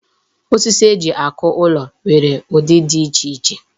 Osisi eji akụ ụlọ nwere udi di iche iche.